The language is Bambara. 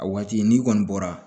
A waati n'i kɔni bɔra